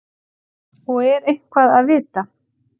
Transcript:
Og er eitthvað að vita?